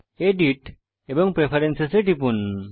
edit এবং preference এ টিপুন